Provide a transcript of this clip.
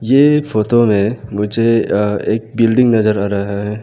ये एक फोटो में मुझे एक बिल्डिंग नजर आ रहा है।